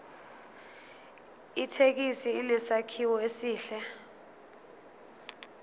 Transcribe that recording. ithekisi inesakhiwo esihle